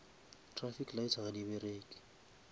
traffic lights ga di bereke